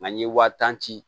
Nka n ye wa tan ci